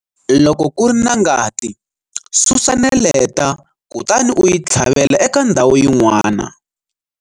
Loko ku ri na ngati, susa neleta kutani u yi tlhavela eka ndhawu yin'wana.